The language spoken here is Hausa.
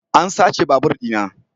An sace babur dina.